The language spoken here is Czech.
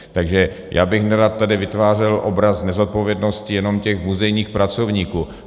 Takže já bych nerad tady vytvářel obraz nezodpovědnosti jenom těch muzejních pracovníků.